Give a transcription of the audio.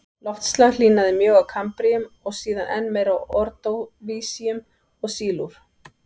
Loftslag hlýnaði mjög á kambríum og síðan enn meir á ordóvísíum og sílúr.